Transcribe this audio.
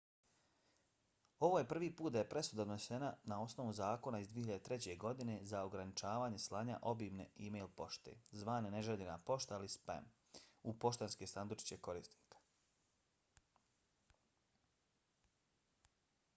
ovo je prvi put da je presuda donesena na osnovu zakona iz 2003. godine za ograničavanje slanja obimne e-pošte zvane neželjena pošta ili spam u poštanske sandučiće korisnika